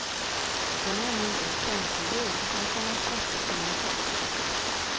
Den är ännu inte offentligjord, men kommer att släppas inom kort.